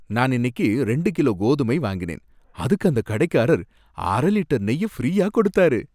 நான் இன்னைக்கு ரெண்டு கிலோ கோதுமை வாங்கினேன், அதுக்கு அந்த கடைக்காரர் அர லிட்டர் நெய்ய ஃபிரீயா கொடுத்தாரு.